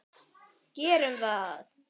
Gerum það!